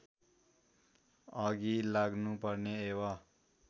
अघि लाग्नुपर्ने एवं